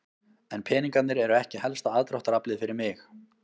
En peningarnir eru ekki helsta aðdráttaraflið fyrir mig.